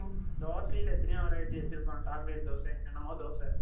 தோசைல எத்தனையோ variety வச்சிருப்பாங்க. Chocolate dosa. என்னென்னமோ தோசை